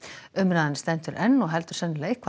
umræðan stendur enn og heldur sennilega